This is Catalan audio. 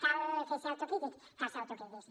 cal ser autocrítics cal ser autocrítics